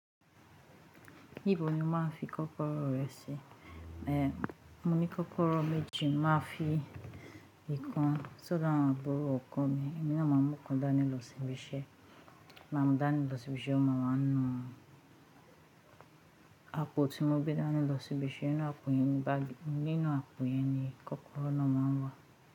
Níbo ni ó máa ń fi kọkọrọ rẹ si? Èè mò ní kọkọrọ méjì máa fi ìkan sọdọ àwọn aburo ọkọ mi, èmi náà máa mú ọ̀kan dání lọ sí ibiṣẹ́, máa mú dání lọ sí ibiṣẹ́, ọmọ máa ń nu. Apò tíì mo gbé dání lọ sí ibiṣẹ́ nínú àpò yẹn ni kọkọrọ náà máa ń wà.